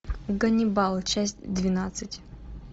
ганнибал часть двенадцать